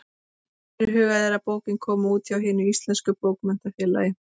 Fyrirhugað er að bókin komi út hjá Hinu íslenska bókmenntafélagi.